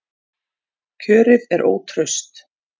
Kjörið er ótraust